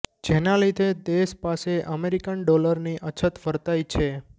જેના લીધે દેશ પાસે અમેરિકન ડોલરની અછત વર્તાઇ છે